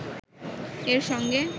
এর সঙ্গে